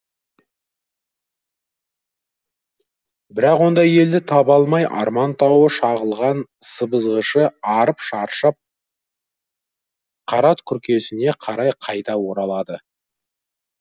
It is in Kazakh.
бірақ ондай елді таба алмай арман тауы шағылған сыбызғышы арып шаршап қара күркесіне қарай қайта оралады